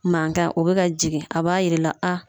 Mankan o bɛ ka jigin a b'a yir'i la a